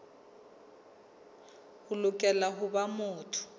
o lokela ho ba motho